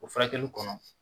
O furakɛli kɔnɔ